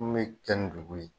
Mun me dugu ye.